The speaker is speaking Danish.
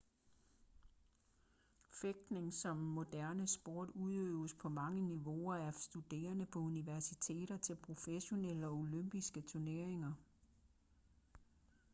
fægtning som moderne sport udøves på mange niveauer af studerende på universiteter til professionelle og olympiske turneringer